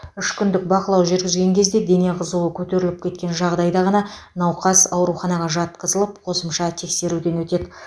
үш күндік бақылау жүргізген кезде дене қызуы көтеріліп кеткен жағдайда ғана науқас ауруханаға жатқызылып қосымша тексеруден өтеді